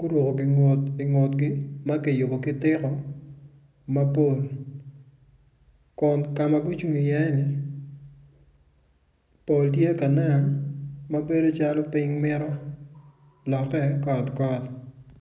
guruko kingut ingutgi ma kiyubo ki tiko mapol kun kama gucung i iye nipol tye kanen mabedo calo piny mito lope kotkot